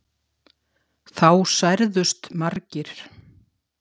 Þá særðust margir